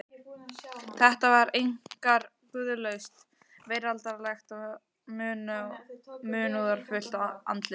Þetta var einkar guðlaust, veraldlegt og munúðarfullt andlit.